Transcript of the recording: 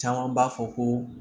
Caman b'a fɔ ko